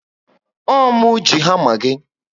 Ọ mụ ji hama gị